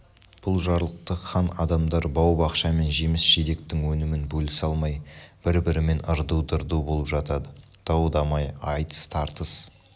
бұл жарлықты хан адамдар бау-бақша мен жеміс-жидектің өнімін бөлісе алмай бір-бірімен ырду-дырду болып жатады дау-дамай айтыс-тартыс